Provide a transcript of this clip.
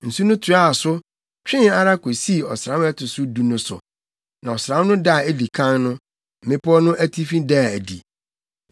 Nsu no toaa so, twee ara kosii ɔsram a ɛto so du no so. Na ɔsram no da a edi kan no, mmepɔw no atifi daa adi.